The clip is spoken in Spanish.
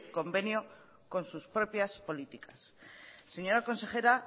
convenio con sus propias políticas señora consejera